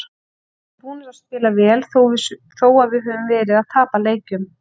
Við erum búnir að spila vel þó svo að við höfum verið að tapa leikjum.